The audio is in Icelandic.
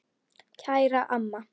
Kæra amma.